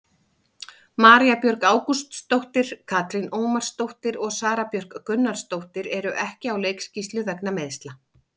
María Björg Ágústsdóttir, Katrín Ómarsdóttir og Sara Björk Gunnarsdóttir eru ekki á leikskýrslu vegna meiðsla.